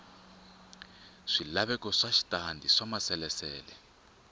swilaveko swa switandati swa maasesele